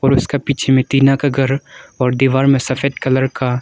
और उसके पीछे में टीना का घर और दीवार में सफेद कलर का--